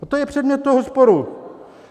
A to je předmět toho sporu.